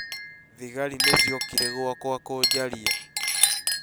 Thigari nĩ ciokire gwakwa kũjaria